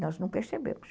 Nós não percebemos.